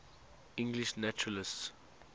english naturalists